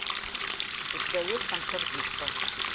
у тебя есть танцор диско